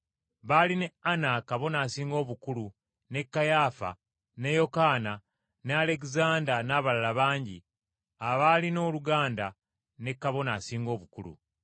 Baali ne Ana Kabona Asinga Obukulu, ne Kayaafa, ne Yokaana, ne Alegezanda n’abalala bangi abaalina oluganda ne Kabona Asinga Obukulu.